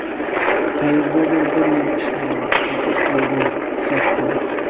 Qayerdadir bir yil ishladim, sotib oldim, sotdim.